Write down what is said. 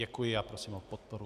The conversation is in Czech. Děkuji a prosím o podporu.